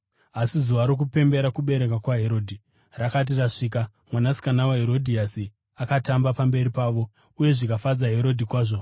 Asi zuva rokupemberera kuberekwa kwaHerodhi rakati rasvika, mwanasikana waHerodhiasi akatamba pamberi pavo uye zvikafadza Herodhi kwazvo,